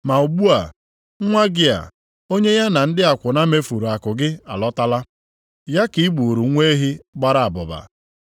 Ma ugbu a, nwa gị a, onye ya na ndị akwụna mefuru akụ gị alọtala, ya ka i gburu nwa ehi gbara abụba.’